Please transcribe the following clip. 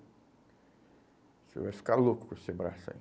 Você vai ficar louco com esse braço aí.